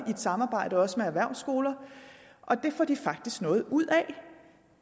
samarbejde også med erhvervsskoler og det får de faktisk noget ud af